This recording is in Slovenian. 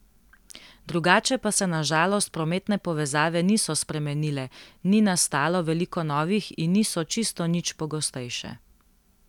Drugače pa se na žalost prometne povezave niso spremenile, ni nastalo veliko novih in niso čisto nič pogostejše.